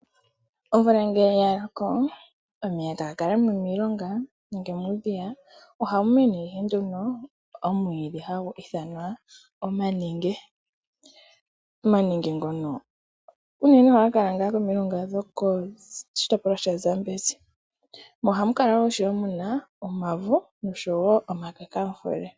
Omvula ngele yaloko omeya ohaga kala momilonga nenge muudhiya, mo ohamu mene ihe nduno omwiidhi hagu ithanwa omanenge. Omanenge ngono unene ohaga kala koshitopolwa shaZambezi. Ohamu kala wo ishewe muna omavo, noshowo omakakamfule.